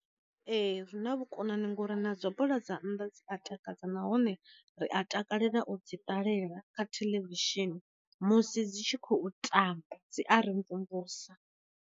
Ee zwi na vhu konani ngori na dza bola dza nnḓa dzi a takadza, nahone ri a takalela u dzi ṱalela kha theḽevishini musi dzi tshi khou tamba dzi a ri mvumvusa.